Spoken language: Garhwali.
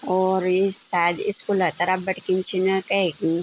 और यु सायद स्कूला तरफ बठै खिनि छन कैकी --